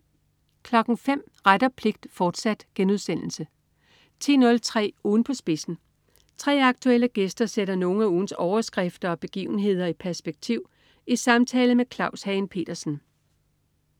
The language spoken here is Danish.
05.00 Ret og pligt, fortsat* 10.03 Ugen på spidsen. 3 aktuelle gæster sætter nogle af ugens overskrifter og begivenhederi perspektiv i samtale med Claus Hagen Petersen